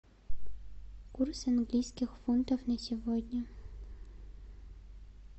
курс английских фунтов на сегодня